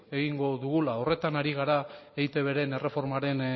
egingo dugula horretan ari gara eitben erreformaren